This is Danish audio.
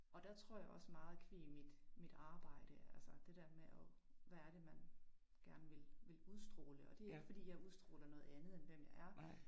Og der tror jeg også meget qua mit mit arbejde altså det der med og hvad er det man gerne vil vil udstråle og det ikke fordi jeg udstråler noget andet end hvad jeg er